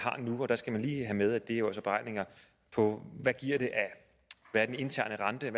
og der skal man lige have med at det jo beregninger på hvad den interne rente er